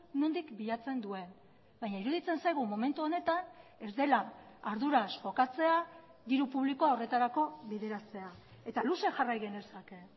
nondik bilatzen duen baina iruditzen zaigu momentu honetan ez dela arduraz jokatzea diru publikoa horretarako bideratzea eta luze jarrai genezake